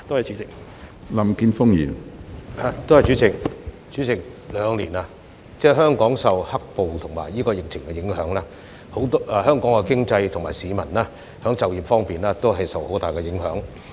主席，兩年以來，香港受到"黑暴"和疫情影響，經濟和市民就業方面均受到很大影響。